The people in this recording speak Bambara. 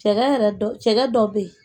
Cɛ yɛrɛ dɔ cɛ dɔ bɛ yen